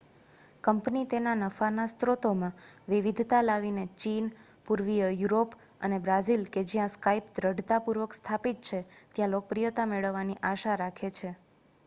company તેના નફાના સ્રોતોમાં વિવિધતા લાવીને ચીન પૂર્વીય યુરોપ અને બ્રાઝિલ કે જ્યાં skype દૃઢતાપૂર્વક સ્થાપિત છે ત્યાં લોકપ્રિયતા મેળવવાની આશા રાખે છે